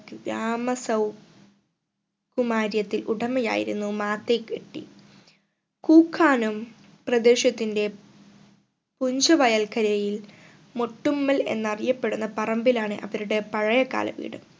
ഗ്രാമ സൗ കുമാര്യത്തിൽ ഉടമയായിരുന്നു മാതയ് എട്ടി കൂക്കാനം പ്രദേശത്തിന്റെ പുഞ്ച വയൽക്കരയിൽ മൊട്ടുമ്മൽ എന്നറിയപ്പെടുന്ന പറമ്പിലാണ് അവരുടെ പഴയകാല വീട്